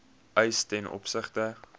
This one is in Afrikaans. eis ten opsigte